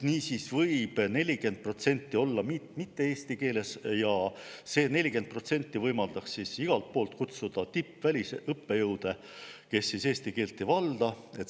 Niisiis võib 40% olla mitte eesti keeles ja see 40% võimaldab igalt poolt kutsuda tippvälisõppejõude, kes eesti keelt ei valda.